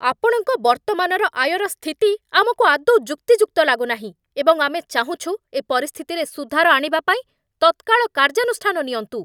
ଆପଣଙ୍କ ବର୍ତ୍ତମାନର ଆୟର ସ୍ଥିତି ଆମକୁ ଆଦୌ ଯୁକ୍ତିଯୁକ୍ତ ଲାଗୁନାହିଁ ଏବଂ ଆମେ ଚାହୁଁଛୁ ଏ ପରିସ୍ଥିତିରେ ସୁଧାର ଆଣିବା ପାଇଁ ତତ୍କାଳ କାର୍ଯ୍ୟାନୁଷ୍ଠାନ ନିଅନ୍ତୁ।